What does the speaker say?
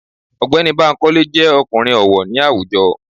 Ọ̀gbẹ́ni Bankole jẹ́ ọkùnrin ọ̀wọ̀ ní àwùjọ.